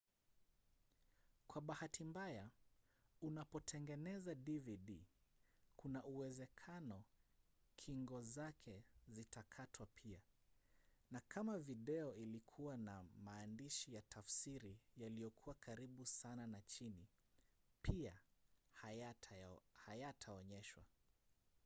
kwa bahati mbaya unapotengeneza dvd kuna uwezekano kingo zake zitakatwa pia na kama video ilikuwa na maandishi ya tafsiri yaliyokuwa karibu sana na chini pia hayataonyeshwa